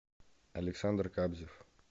александр кабзев